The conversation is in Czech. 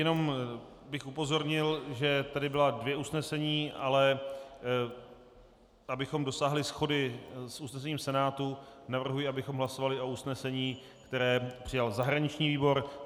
Jenom bych upozornil, že tady byla dvě usnesení, ale abychom dosáhli shody s usnesením Senátu, navrhuji, abychom hlasovali o usnesení, které přijal zahraniční výbor.